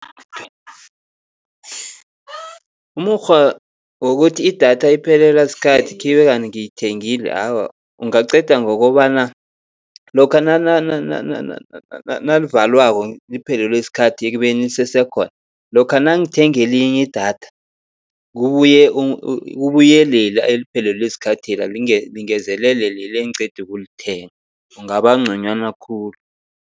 Umukghwa wokuthi idatha iphelelwa sikhathi khibe kanti ngiyithengele, awa ungaqeda ngokobana lokha nalivalwako liphelelwe sikhathi ekubeni lisese khona. Lokha nangithenga elinye idatha kubuye kubuye lela eliphelelwe sikhathela lingezelele leli engiqeda ukulithenga. Kungaba nconywana khulu.